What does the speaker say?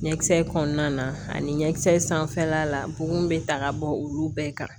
Ɲɛkisɛ kɔnɔna na ani ɲɛkisɛ sanfɛla la bon bɛ ta ka bɔ olu bɛɛ kan